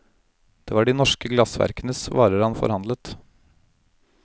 Det var de norske glassverkenes varer han forhandlet.